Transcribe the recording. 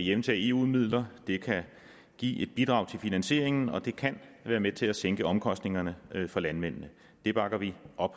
hjemtage eu midler og det kan give et bidrag til finansieringen og det kan være med til at sænke omkostningerne for landmændene det bakker vi op